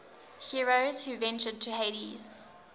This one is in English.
heroes who ventured to hades